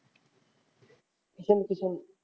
Ishan Kishan